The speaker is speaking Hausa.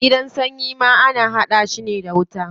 Gidan sanyi ma ana hada shi ne da wuta.